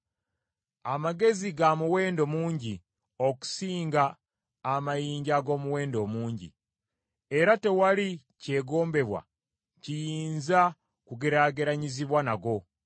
Amagezi ga muwendo mungi okusinga amayinja ag’omuwendo omungi: era tewali kyegombebwa kiyinza kugeraageranyizibwa nago.